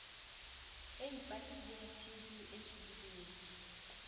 e ipatileng tb e tsohileng